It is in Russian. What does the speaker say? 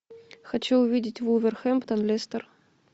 хочу увидеть вулверхэмптон лестер